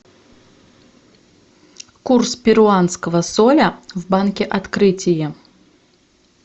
курс перуанского соля в банке открытие